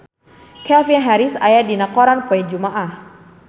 Calvin Harris aya dina koran poe Jumaah